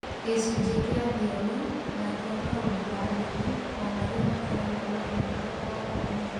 Gĩcunjĩ kĩa thiomi na kĩa maũndũ ma ndini, o marĩa makoragwo na ũhoro o ũmwe.